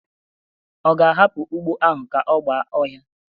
Ọ ga-ahapụ ugbo ahụ ka ọ gba ọhia?